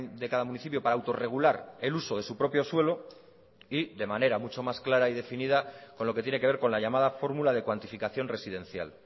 de cada municipio para autorregular el uso de su propio suelo y de manera mucho más clara y definida con lo que tiene que ver con la llamada fórmula de cuantificación residencial